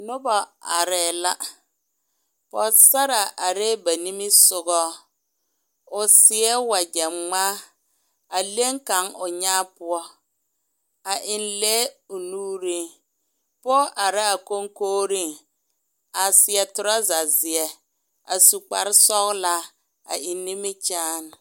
Noba arɛɛ la pogesara arɛɛ ba nimi sɔgɔ o seɛ wakyɛ gmaa a leŋ kaŋ o nyɛɛ poɔ a eŋ lɛɛ o nuuri poge are la a konkoriŋ a seɛ toroza zeɛ a su kparre sɔglaa a eŋ nimi kyaane.